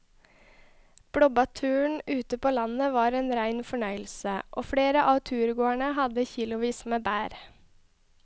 Blåbærturen ute på landet var en rein fornøyelse og flere av turgåerene hadde kilosvis med bær.